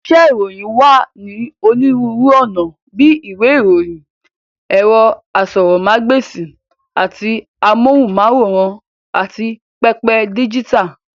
Iṣẹ́ ìròyìn wá ní onírúurú ọ̀nà bíi ìwé ìròyìn, ẹ̀rọ asọ̀rọ̀mágb'èsì àti amóhùnm'áwòrán, àti pẹpẹ díjítà.